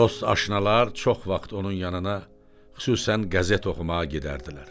Dost aşnalar çox vaxt onun yanına xüsusən qəzet oxumağa gedərdilər.